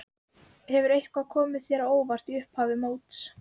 Hefur eitthvað komið þér á óvart í upphafi móts?